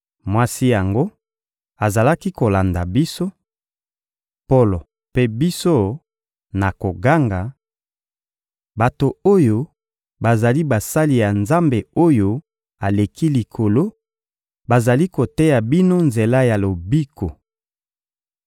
Mwasi yango azalaki kolanda biso, Polo mpe biso, na koganga: — Bato oyo bazali basali ya Nzambe-Oyo-Aleki-Likolo, bazali koteya bino nzela ya lobiko.